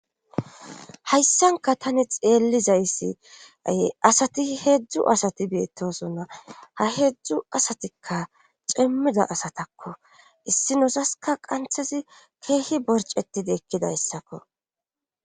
hayssankka tani xeellizayssi asati heedzdzu asati beettosonna ha heedzdzu asatikka cimmida asatakko issinozasikka qanthazi keehi borcetidi ekkidayssakko